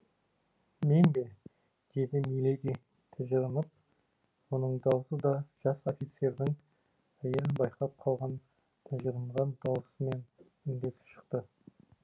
мен бе деді миледи тыжырынып мұның даусы да жас офицердің әйел байқап қалған тыжырынған даусымен үндес шықты